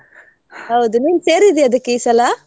ಹೌದ್. ನೀನ್ ಸೇರಿದ್ಯಾ ಅದಕ್ಕೆ ಈ ಸಲಾ?